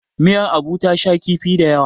miyar Abu ta sha kifi da yawa